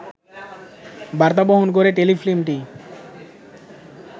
বার্তা বহন করে টেলিফিল্মটি